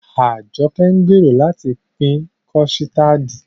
Ajoke ń gbèrò láti pín kọ̀stáádì